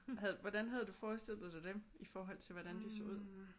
Havde du hvordan havde du forestillet dig dem i forhold til hvordan de så ud?